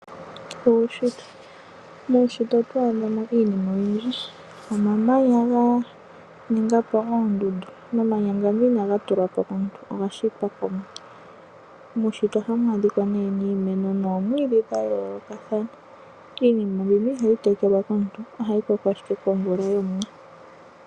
Uunshitwe Muunshitwe oto adha mo iinima oyindji ngaashi omamanya ga ninga po oondundu. Omamanya ngano inaga tulwa po komuntu, oga shitwa mOmuwa. Muunshitwe ohamu adhika iimeno noomwiidhi dha yoolokathana. Iinima mbino ihayi tekelwa komuntu ohayi koko ashike komvula yOmuwa.